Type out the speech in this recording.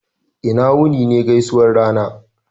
"ina wuni" ne gaisuwan rana